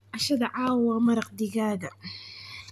Cashadha cawaa waa maraqa digaaga.